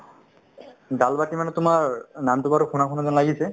dal bati মানে তোমাৰ নামটো বাৰু শুনা শুনা যেন লাগিছে